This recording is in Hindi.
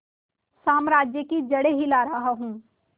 साम्राज्य की जड़ें हिला रहा हूं